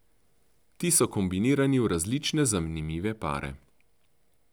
Ti so kombinirani v različne zanimive pare.